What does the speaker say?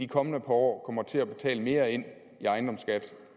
kommende par år kommer til at betale mere ind i ejendomsskat